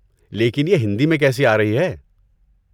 لیکن یہ ہندی میں کیسی آرہی ہے؟